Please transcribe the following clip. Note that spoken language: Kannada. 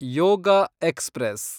ಯೋಗ ಎಕ್ಸ್‌ಪ್ರೆಸ್